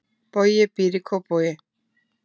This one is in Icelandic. Bogi býr í Kópavogi.